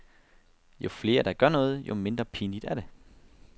Jo flere der gør noget, jo mindre pinligt er det.